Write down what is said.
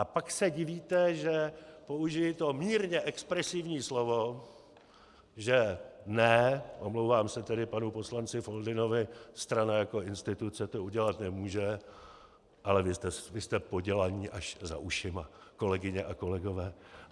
A pak se divíte, že použiji to mírně expresivní slovo, že ne - omlouvám se tedy panu poslanci Foldynovi - strana jako instituce to udělat nemůže, ale vy jste podělaní až za ušima, kolegyně a kolegové.